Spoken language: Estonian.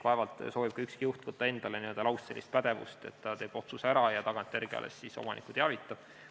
Vaevalt soovib ükski juht endale võtta n-ö lauspädevust, et ta teeb otsuse ära ja tagantjärele alles omanikku teavitab.